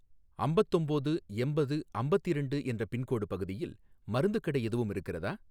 அம்பத்தொம்போது எம்பது அம்பத்திரெண்டு என்ற பின்கோடு பகுதியில் மருந்துக் கடை எதுவும் இருக்கிறதா?